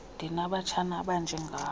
ndinabatshana abanje ngawe